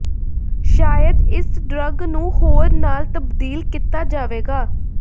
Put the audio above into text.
ਸ਼ਾਇਦ ਇਸ ਡਰੱਗ ਨੂੰ ਹੋਰ ਨਾਲ ਤਬਦੀਲ ਕੀਤਾ ਜਾਵੇਗਾ